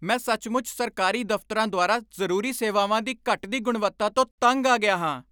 ਮੈਂ ਸੱਚਮੁੱਚ ਸਰਕਾਰੀ ਦਫ਼ਤਰਾਂ ਦੁਆਰਾ ਜ਼ਰੂਰੀ ਸੇਵਾਵਾਂ ਦੀ ਘਟਦੀ ਗੁਣਵੱਤਾ ਤੋਂ ਤੰਗ ਆ ਗਿਆ ਹਾਂ।